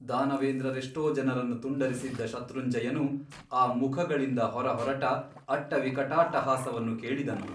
ದಾನವೇಂದ್ರರೆಷ್ಟೋ ಜನರನ್ನು ತುಂಡರಿಸಿದ್ದ ಶತ್ರುಂಜಯನು ಅ ಮುಖಗಳಿಂದ ಹೊರಹೊರಟ ಅಟ್ಟವಿಕಟಾಟ್ಟಹಾಸವನ್ನು ಕೇಳಿದನು.